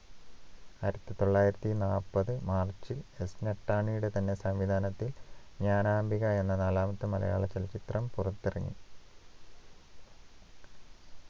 ആയിരത്തിതൊള്ളായിരത്തിനാല്പത് മാർചിൽ S മെത്താനിയുടെ തന്നെ സംവിധാനത്തിൽ ജ്ഞാനാംബിക എന്ന നാലാമത്തെ മലയാള ചലച്ചിത്രം പുറത്തിറങ്ങി